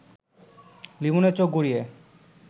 লিমনের চোখ গড়িয়ে